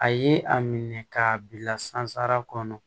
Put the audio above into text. A ye a minɛ k'a bila sansara kɔnɔ